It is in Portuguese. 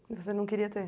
E você não queria ter?